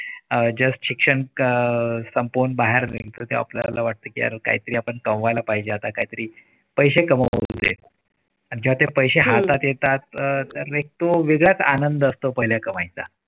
अह शिक्षण संपवून बाहेर न्यू स्टोअर तर आपल्याला वाटतं की पण काहीतरी कमवायला व्हायला पाहिजे काहीतरी पैसे पैसे कमवा आणि जेव्हा ते पैसा हातात येतात तर एक तू वेगळाच आनंद असतो. पहिला कमाईचा